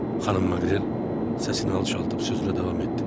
Xanım Maqrel səsini alçaldıb sözünə davam etdi.